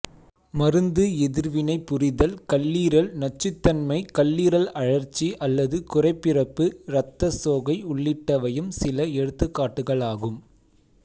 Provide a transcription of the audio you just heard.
மருந்து எதிர்வினை புரிதல் கல்லீரல் நச்சுதன்மை கல்லீரல் அழற்சி அல்லது குறைப்பிறப்பு இரத்த சோகை உள்ளிட்டவையும் சில எடுத்துக்காட்டுகளாகும்